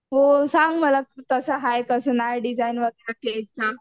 हो सांग मला कसं हाय कसं नाय डिझाईन वगैरे केकच्या.